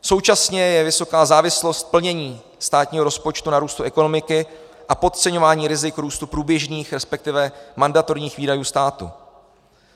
Současně je vysoká závislost plnění státního rozpočtu na růstu ekonomiky a podceňování rizik růstu průběžných, respektive mandatorních výdajů státu.